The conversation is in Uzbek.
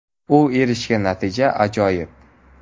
U erishgan natija − ajoyib.